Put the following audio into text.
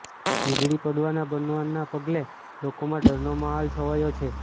વીજળી પડવાના બનાવના પગલે લોકોમાં ડરનો માહોલ છવાયો છે